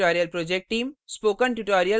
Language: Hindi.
spoken tutorial project team